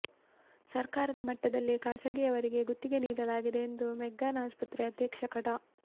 ಸರ್ಕಾರದ ಮಟ್ಟದಲ್ಲೇ ಖಾಸಗಿಯವರಿಗೆ ಗುತ್ತಿಗೆ ನೀಡಲಾಗಿದೆ ಎಂದು ಮೆಗ್ಗಾನ್ ಆಸ್ಪತ್ರೆ ಅಧೀಕ್ಷಕ ಡಾ